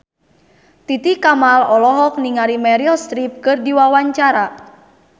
Titi Kamal olohok ningali Meryl Streep keur diwawancara